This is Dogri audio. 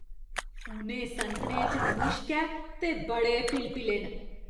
उ'नें संतरे च मुश्क ऐ ते बड़े पिलपिले न।